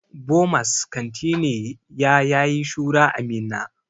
Bomas kanti ne ya yayi shura a Minna.